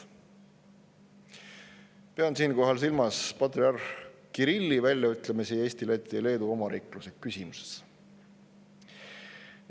Ma pean siinkohal silmas patriarh Kirilli väljaütlemisi Eesti, Läti ja Leedu omariikluse küsimuses.